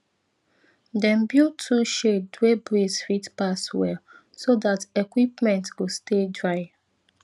dem build tool shed wey breeze fit pass well so dat equipment go stay dry